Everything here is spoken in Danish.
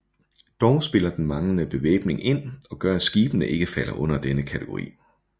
Dog spiller den manglende bevæbning ind og gør at skibene ikke falder under denne kategori